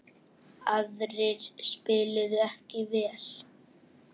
Aðrir spiluðu ekki vel.